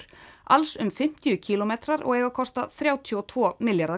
alls um fimmtíu kílómetrar og kosta þrjátíu og tveggja milljarða